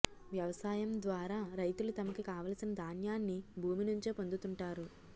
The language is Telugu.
వ్యవసాయం ద్వారా రైతులు తమకి కావలసిన ధాన్యాన్ని భూమి నుంచే పొందుతుంటారు